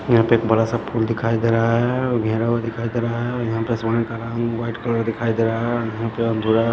यहाँ पे एक बड़ा सा पुल दिखाई दे रहा है घिरा हुआ दिखाई दे रहा है और यहाँ पे व्हाईट कलर दिखाई दे रहा है और यहाँ पे थोड़ा--